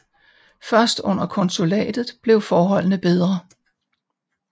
Først under konsulatet blev forholdene bedre